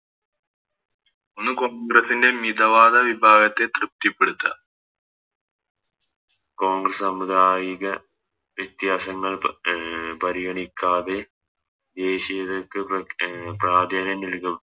ഒന്ന് കോൺഗ്രസ്സിൻറെ മിതവാദ വിഭാഗത്തെ തൃപ്തിപ്പെടുത്തുക കോൺഗ്രസ്സ് സമുദായിക വ്യത്യാസങ്ങൾ അഹ് പരിഗണിക്കാതെ വിദേശികൾക്ക് അഹ് പ്രാധാന്യം നൽകുക